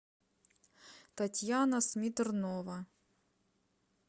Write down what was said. татьяна смитрнова